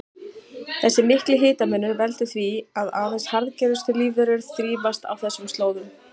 Þessi mikli hitamunur veldur því að aðeins harðgerustu lífverur þrífast á þessum slóðum.